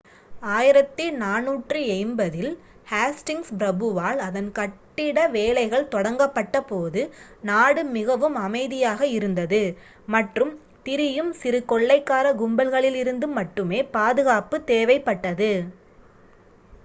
1480 ல் ஹேஸ்டிங்ஸ் பிரபுவால் அதன் கட்டிட வேலைகள் தொடங்கப்பட்ட போது நாடு மிகவும் அமைதியாக இருந்தது மற்றும் திரியும் சிறு கொள்ளைக்கார கும்பல்களிலிருந்து மட்டுமே பாதுகாப்பு தேவைப்பட்டது